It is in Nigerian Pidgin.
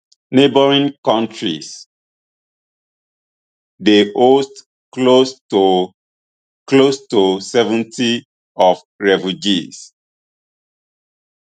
neighbouring kontris dey host close to close to seventy of refugees